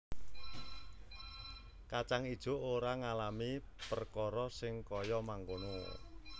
Kacang ijo ora ngalami perkara sing kaya mangkono